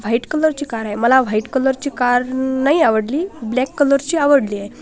वाईट कलर ची कार आहे मला व्हाईट कलर ची कार नाही आवडली ब्लॅक कार ची आवडली आहे.